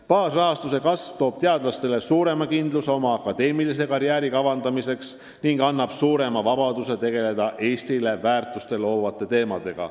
Baasrahastuse kasv toob teadlastele suurema kindluse oma akadeemilise karjääri kavandamiseks ning annab suurema vabaduse tegeleda Eestile väärtust loovate teemadega.